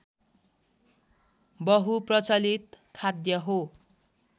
बहुप्रचलित खाद्य हो